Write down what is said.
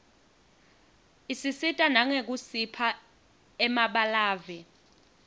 isisita nangekusipha emabalave